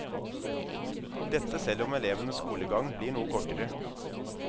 Dette selv om elevenes skolegang blir noe kortere.